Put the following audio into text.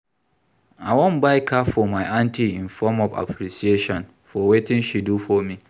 I wan buy car for my aunty in form of appreciation for wetin she do for me